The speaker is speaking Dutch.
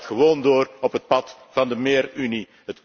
Dat gaat gewoon door op het pad van méér Unie.